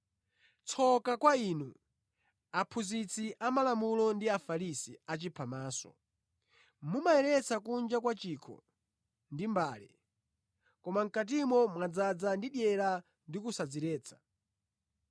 “Tsoka kwa inu, aphunzitsi amalamulo ndi Afarisi achiphamaso! Mumayeretsa kunja kwa chikho ndi mbale, koma mʼkatimo mwadzaza ndi dyera ndi kusadziretsa.